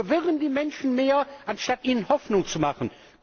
Wir verwirren die Menschen mehr anstatt ihnen Hoffnung zu machen.